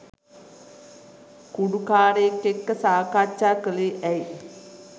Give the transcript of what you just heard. කුඩු කාරයෙක් එක්ක සාකච්ඡා කළේ ඇයි?